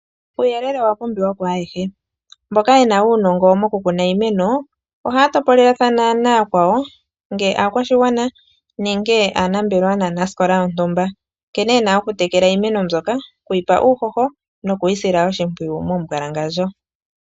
Uuyelele owa pumbiwa ku ayehe, mboka yena uunongo mokukuna iimeno ohaya topolelathana nayakwawo ngele aakwashigwana ,nenge aanambelewa naanasikola yontumba nkene yena okutekela iimeno mbyoka, okuyipa uuhoho noku yisila oshimpwiyu momumbwalangandjo.